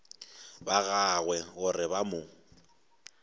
ba gagwe gore ba mo